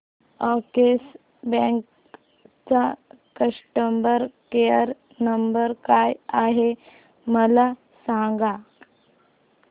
Axis bank चा customer care number काय आहे मला सांगा